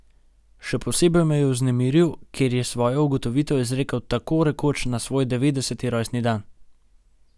Še posebej me je vznemiril, ker je svojo ugotovitev izrekel tako rekoč na svoj devetdeseti rojstni dan.